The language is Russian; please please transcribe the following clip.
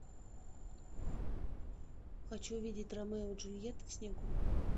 хочу видеть ромео и джульетта в снегу